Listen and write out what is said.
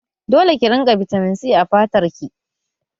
Dole ki rinƙa bitamin C a fatar ki!